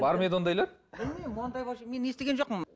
бар ма еді ондайлар білмеймін ондай мен естіген жоқпын